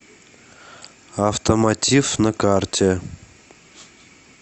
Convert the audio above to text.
автомотив на карте